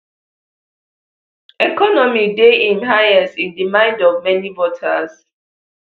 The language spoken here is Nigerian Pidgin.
economy dey im highest in di mind of many voters